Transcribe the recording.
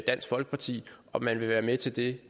dansk folkeparti om man vil være med til det